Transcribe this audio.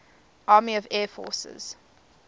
army air forces